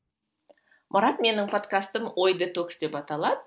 марат менің подкастым ой детокс деп аталады